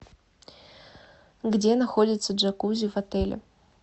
где находится джакузи в отеле